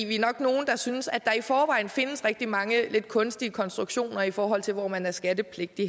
vi er nok nogle der synes at der i forvejen findes rigtig mange lidt kunstige konstruktioner i forhold til hvor man er skattepligtig